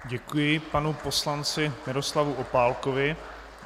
Děkuji panu poslanci Miroslavu Opálkovi.